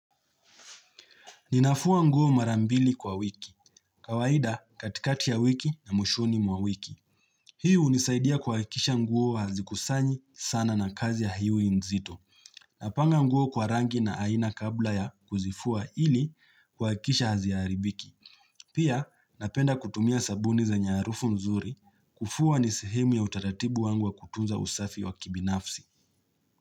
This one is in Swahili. Ninafua nguo marambili kwa wiki. Kawaida katikati ya wiki na moshoni mwa wiki. Hiu unisaidia kwaikisha nguo hazikusanyi sana na kazi ya hiu inzito. Napanga nguo kwa rangi na aina kabla ya kuzifua ili kwaikisha haziaribiki. Pia napenda kutumia sabuni za nyarufu nzuri kufua nisihimu ya utaratibu wangu wa kutunza usafi wa kibinafsi.